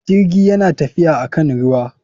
Jirgi yana tafiya akan ruwa.